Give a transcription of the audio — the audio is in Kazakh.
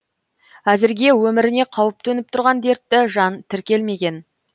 әзірге өміріне қауіп төніп тұрған дертті жан тіркелмеген